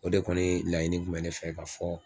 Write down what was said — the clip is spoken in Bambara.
O de kɔni laɲini kun bɛ ne fɛ ka fɔ